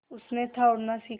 उसने था उड़ना सिखा